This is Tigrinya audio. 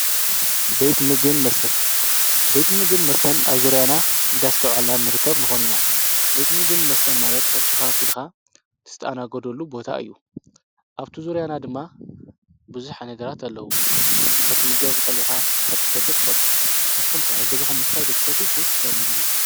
ቤት ምግብን መስተን፡- ቤት ምግብን መስተን ኣብ ዙርያና እንዳስተውዐልና ንርከብ ንኾን ኢና፡፡ ቤት ምግብን መስተን ማለት ቅርሽካ ከፊልካ እትስተኣነገደሉ ቦታ እዩ፡፡ ኣብቲ ዙርያና ድማ ብዙሕ ዓይነታት ኣለዉ፡፡ ክትምገብ ትኽእል ኢኻ፣ ክትሰትይ ትኽእል ኢኻ፡፡ ንስኹም ከ ኣብ ገዛኹም ዶ ምስታይ ትፈትዉስ ወይስ ኣብ እንዳ ምግቢ?